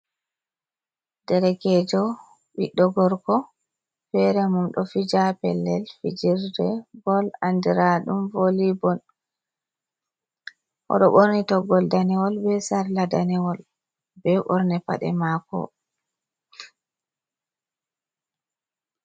Derekeejo ɓiɗɗo gorko feere mum, ɗo fija haa pellel fijirde bol anndira ɗum vooli bol, o ɗo ɓorni toggol daneewol be sarla daneewol, be ɓorne paɗe maako.